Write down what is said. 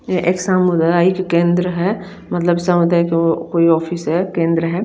ये एक शाम वगेरा ये जो केंद्र है मतलब सामुदाईक वो कोई ऑफिस है केंद्र है।